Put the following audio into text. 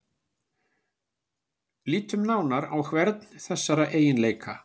Lítum nánar á hvern þessara eiginleika.